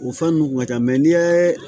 O fɛn ninnu kun ka ca n'i ye